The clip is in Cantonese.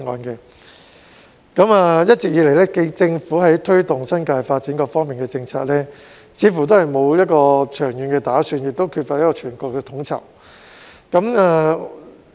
一直以來，政府在推動新界發展的各方面政策，似乎都沒有長遠的打算，亦缺乏全盤的統籌。